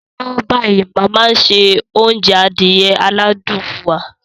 Lọ́wọ́lọ́wọ́ báyìí, màmá ń se oúnjẹ adìẹ aládùn fún wa.